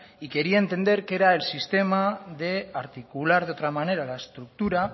y quería entender que era el sistema de articular de otra manera la estructura